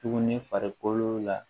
Tuguni farikolo la